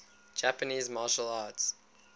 japanese martial arts